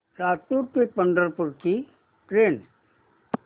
लातूर ते पंढरपूर ची ट्रेन